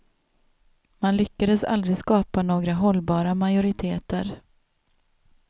Man lyckades aldrig skapa några hållbara majoriteter.